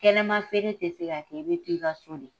Kɛnɛma feere tɛ tô yan, a bɛ to i ka so de!